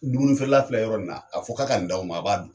Dumuni feerela filɛ yɔrɔ nin na, a fɔ k'a ka nin d'aw ma, a b'a dun.